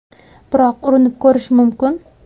Biroq urinib ko‘rish mumkin.